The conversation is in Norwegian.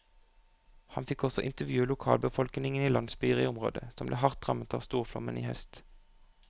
Han fikk også intervjue lokalbefolkningen i landsbyer i områder som ble hardt rammet av storflommen i høst.